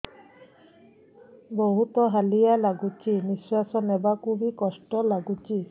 ବହୁତ୍ ହାଲିଆ ଲାଗୁଚି ନିଃଶ୍ବାସ ନେବାକୁ ଵି କଷ୍ଟ ଲାଗୁଚି